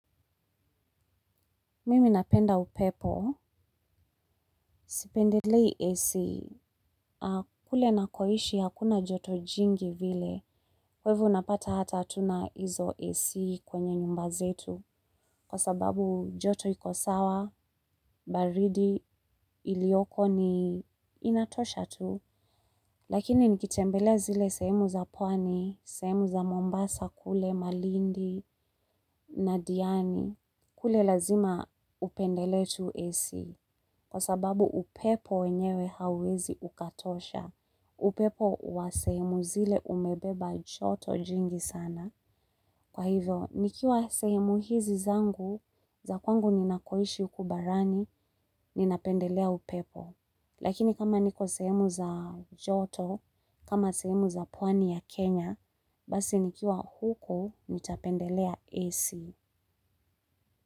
Mimi napenda upepo. Sipendelei AC, kule nakoishi hakuna joto jingi vile, kwa hivo unapata hata hatuna hizo AC kwenye nyumba zetu, kwa sababu joto iko sawa, baridi iliyoko ni inatosha tu. Lakini nikitembelea zile sehemu za pwani, sehemu za Mombasa kule, Malindi, na Diani, kule lazima upendelee tu AC. Kwa sababu upepo wenyewe hauwezi ukatosha, upepo wa sehemu zile umebeba joto jingi sana. Kwa hivyo, nikiwa sehemu hizi zangu, za kwangu ninakoishi huku barani, ninapendelea upepo. Lakini kama niko sehemu za joto, kama sehemu za pwani ya Kenya, basi nikiwa huko, nitapendelea AC.